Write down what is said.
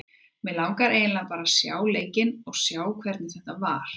Mig langar eiginlega bara að sjá leikinn og sjá hvernig þetta var.